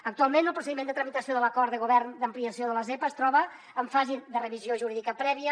actualment el procediment de tramitació de l’acord de govern d’ampliació de la zepa es troba en fase de revisió jurídica prèvia